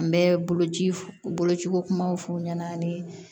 N bɛ bolo ci bolociko kumaw f'u ɲɛna ani